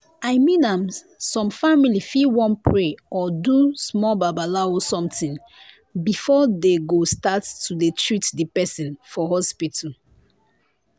i mean am some family fit wan pray or do small babalawo somtin before dey go start to dey treat di pesin for hospital.